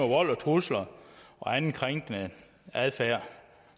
vold og trusler og anden krænkende adfærd